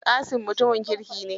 Kasim mutumin kirki ne.